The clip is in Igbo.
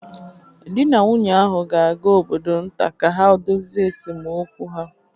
Di na nwunye ahụ ga-aga obodo nta ka ha dozie esemokwu ha